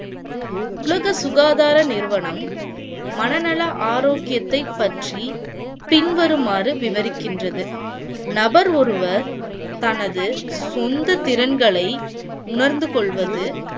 உலக சுகாதார நிறுவனம் மன நல ஆரோக்கியத்தைப் பற்றி பின்வருமாறு விவரிக்கின்றது. நபர் ஒருவர் தனது சொந்த திறன்களை உணர்ந்து கொள்வது